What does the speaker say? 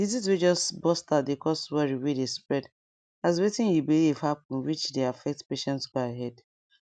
disease way just burst out dey cause worry way dey spread as wetin you believe happen which dey affect patient go ahead